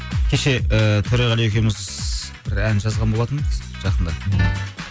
кеше ііі төреғали екеуміз бір ән жазған болатынбыз жақында